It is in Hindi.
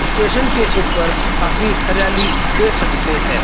स्टेशन के ऊपर काफी हरियाली देख सकते हैं।